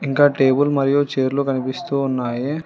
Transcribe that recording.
ఇంకా టేబుల్ మరియు చైర్లు కనిపిస్తూ ఉన్నాయి.